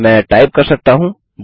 मैं टाइप कर सकता हूँ